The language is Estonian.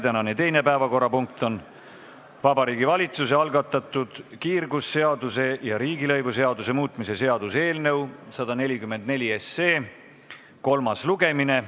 Tänane teine päevakorrapunkt on Vabariigi Valitsuse algatatud kiirgusseaduse ja riigilõivuseaduse muutmise seaduse eelnõu 144 kolmas lugemine.